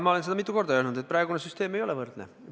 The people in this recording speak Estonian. Ma olen seda mitu korda öelnud, et praegune süsteem ei taga võrdsust.